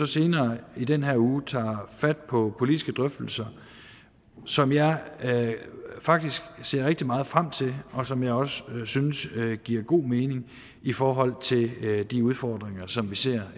senere i denne uge tager vi fat på politiske drøftelser som jeg faktisk ser rigtig meget frem til og som jeg også synes giver god mening i forhold til de udfordringer som vi ser